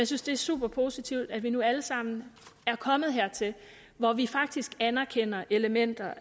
synes det er super positivt at vi nu alle sammen er kommet hertil hvor vi faktisk anerkender elementer